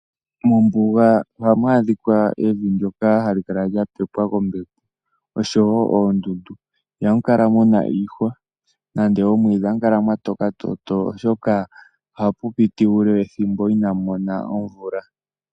Mombuga ohamu adhika evi ndyoka hali kala lya pepwa kombepo oshowo oondundu. Ihamu adhika iihwa oshowo omwiidhi ohamu kala mwatoka toto oshoka ohamu ningi ethimbo inamu mona omvula.